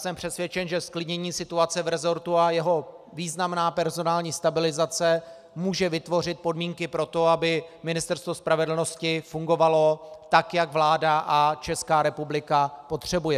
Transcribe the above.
Jsem přesvědčen, že zklidnění situace v resortu a jeho významná personální stabilizace může vytvořit podmínky pro to, aby Ministerstvo spravedlnosti fungovalo tak, jak vláda a Česká republika potřebují.